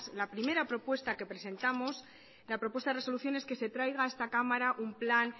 la primera propuesta que presentamos la propuesta de resolución es que se traiga a esta cámara un plan